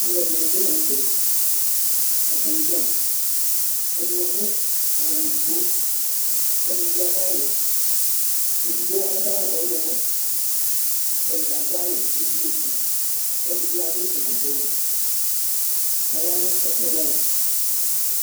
alo ɛdini bi lantɛ atani dza ɛdini adu awu edigbo k'ɛdini bi adu awu wɛ edigbo adu awu ɔwlɔmɔ k'atadza adu awu ublu su k'ɛdi bi adu ɛkɔtɔ wɛ k'aya no ɛkò ɛdi ava